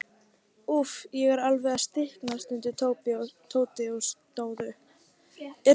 Úff, ég er alveg að stikna stundi Tóti og stóð upp.